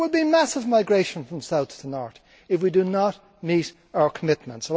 There will be massive migration from south to north if we do not meet our commitments.